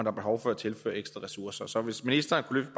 er behov for at tilføre ekstra ressourcer så hvis ministeren kunne